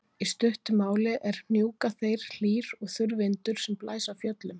í stuttu máli er hnjúkaþeyr hlýr og þurr vindur sem blæs af fjöllum